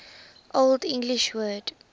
old english word